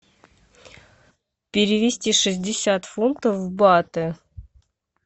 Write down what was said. перевести шестьдесят фунтов в баты